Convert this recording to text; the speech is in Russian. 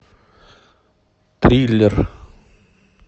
триллер